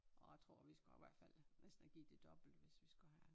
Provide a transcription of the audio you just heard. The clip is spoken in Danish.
Og jeg tror vi skulle have hvert fald næsten have givet det dobbelte hvis vi skulle have